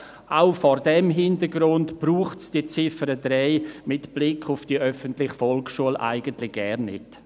Auch vor diesem Hintergrund braucht es die Ziffer 3 mit Blick auf die öffentliche Volksschule eigentlich gar nicht.